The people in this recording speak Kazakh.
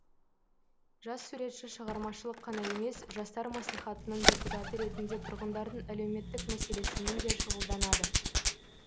жас суретші шығармашылық қана емес жастар мәслихатының депутаты ретінде тұрғындардың әлеуметтік мәселесімен де шұғылданады